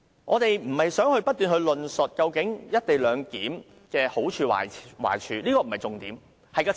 我們並非想不斷討論"一地兩檢"的好處和壞處，這不是重點。